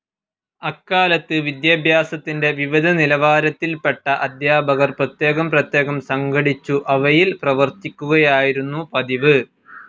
അക്കാലത്ത് വിദ്യാഭ്യാസത്തിൻ്റെ വിവിധ നിലവാരത്തിൽപ്പെട്ട അധ്യാപകർ പ്രത്യേകം പ്രത്യേകം സംഘടിച്ചു അവയിൽ പ്രവർത്തിക്കുകയായിരുന്നു പതിവ്.